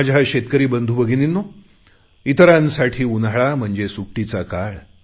माझ्या शेतकरी बंधु भगिनींनो इतरांसाठी उन्हाळा म्हणजे सुट्टीचा काळ